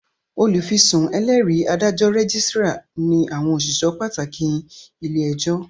Olùfisùn, ẹlẹ́rìí, adájọ́, rẹ́gísírà ní àwọn òṣìṣẹ́ pàtàkì ilé-ẹjọ́